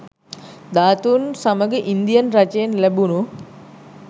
ධාතුන් සමඟ ඉන්දියන් රජයෙන් ලැබුණූ